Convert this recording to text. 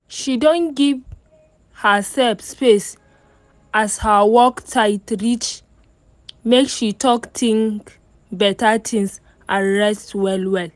she don give herself space as her work tight reach make she talk think better things and rest well well